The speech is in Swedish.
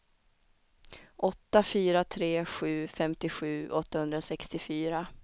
åtta fyra tre sju femtiosju åttahundrasextiofyra